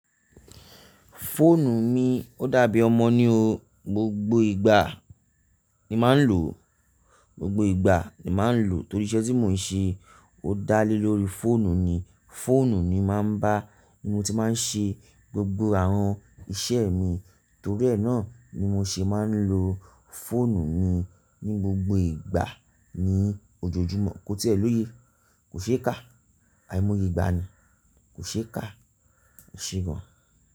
Fóònù mi ó dàbí ọmọ ní o, gbogbo ìgbà ni màá ń lò o, gbogbo ìgbà ni màá ń lò o torí iṣẹ́ tí mò ń ṣe o dá lé lórí fóònù ni, fóònù mi màá ń bá ni mo ti máa ń ṣe gbogbo àwọn iṣẹ́ mi torí ẹ̀ náà ni mo ṣe máa ń lo fóònù mi ní gbogbo ìgbà ní ojoojúmọ́ kó tíẹ̀ niye, kò ṣe é kà, àìmọye ìgbà ni, kò ṣe é kà, e ṣe gan.